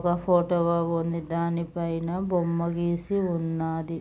ఒక ఫోటోవ ఉందదానిపైన బొమ్మ గీసి ఉన్నాది.